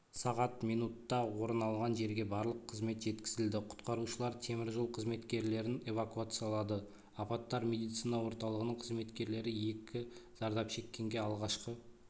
сағат минутта орын алған жерге барлық қызмет жеткізілді құтқарушылар темір жол қызметкерлерін эвакуациялады апаттар медицина орталығының қызметкерлері екі зардап шеккенге алғашқы